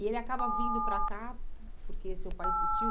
E ele acaba vindo para cá porque seu pai insistiu?